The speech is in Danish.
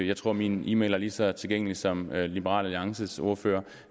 jeg tror min e mail er lige så tilgængelig som liberal alliances ordførers